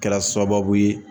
Kɛra sababu ye